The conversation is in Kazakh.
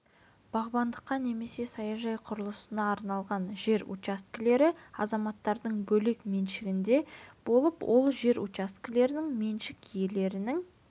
бағбандыққа немесе саяжай құрылысына арналған жер учаскелер азаматтардың бөлек меншігінде болып ал жер учаскелерінің меншік иелерінің